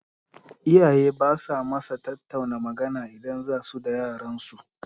Iyaye basa masa tattauna magana idan zasu da yaran su